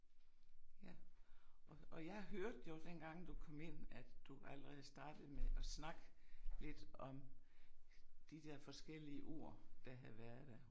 Ja og og jeg hørte jo dengang du kom ind at du allerede startede med at snakke lidt om de der forskellige ord der havde været der